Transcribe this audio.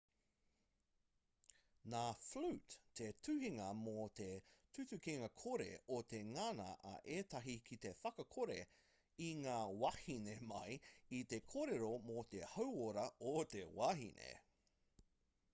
nā flute te tuhingā mō te tutukinga-kore o te ngana a ētahi ki te whakakore i ngā wāhine mai i te kōrero mō te hauora o te wahine